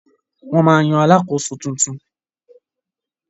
Wọ́n ma yan Alakoso tuntun